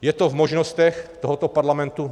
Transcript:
Je to v možnostech tohoto parlamentu?